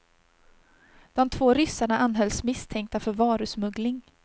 De två ryssarna anhölls misstänkta för varusmuggling.